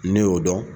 Ne y'o dɔn